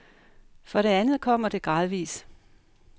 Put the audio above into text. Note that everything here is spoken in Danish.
For det andet kommer det gradvis.